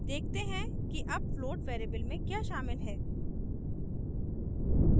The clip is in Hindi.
देखते हैं कि अब float float variable में क्या शामिल है